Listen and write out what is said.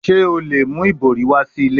Ṣe o le mu ibori wa si ile?